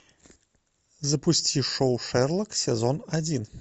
запусти шоу шерлок сезон один